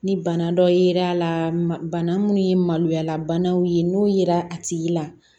Ni bana dɔ yera a la bana mun ye maloya banaw ye n'o yera a tigi la